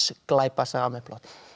glæpasaga með plotti